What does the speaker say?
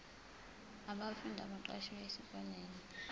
abafundi abaqashwe esikoleni